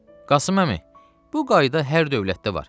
Qasım əmi, bu qayda hər dövlətdə var.